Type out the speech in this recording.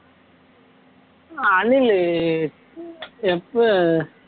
ஆஹ் அணிலு எப்ப